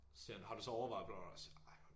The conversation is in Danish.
Siger han har du så overvejet bla bla siger ej